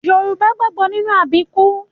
Yorùbá gbàgbọ́ nínú àbíkú